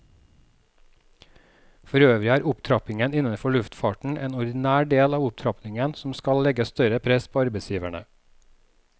Forøvrig er opptrappingen innenfor luftfarten en ordinær del av opptrappingen som skal legge større press på arbeidsgiverne.